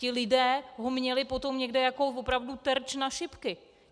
Ti lidé ho měli potom někde jako opravdu terč na šipky.